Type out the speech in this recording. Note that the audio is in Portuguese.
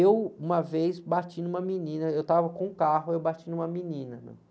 Eu, uma vez, bati numa menina, eu estava com o carro, eu bati numa menina, né?